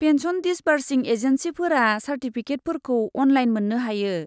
Pension दिसबार्सिं एजेन्सिफोरा चार्टिफिकेटफोरखौ अनलाइन मोन्नो हायो।